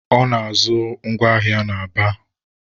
Ọ na-azụ ngwa ahịa na Aba.